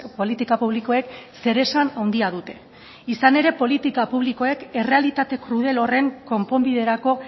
politika publikoek zeresan handia dute izan ere politika publikoek errealitate krudel horren konponbiderako